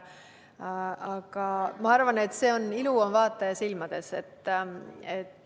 Aga ma arvan, et ilu on vaataja silmades.